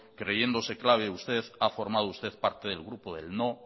creyéndose clave usted ha formado parte del grupo del no